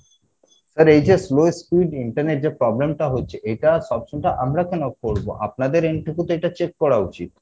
sir এইযে slow speed internet যে problem টা হচ্ছে এইটা আমরা কেনো করবো আপনাদের end থেকে তো এটা check করা উচিত